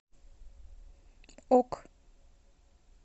ок